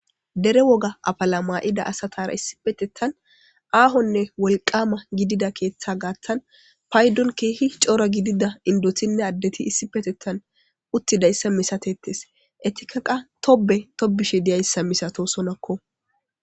dere woga afala ma'ida asatara issipetettan aahonne wolqama gidida keeththa gaattan paydon keehi coora gidida indotinne addeti issi petettan uttidayssa misatettes etika qa tobe tobishe diyayssa misatosonakko